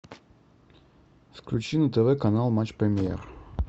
включи на тв канал матч премьер